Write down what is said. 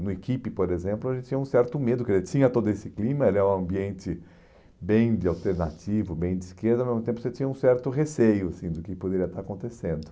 No equipe, por exemplo, a gente tinha um certo medo, porque ele tinha todo esse clima, era é um ambiente bem de alternativo, bem de esquerda, mas ao mesmo tempo você tinha um certo receio, assim, do que poderia estar acontecendo.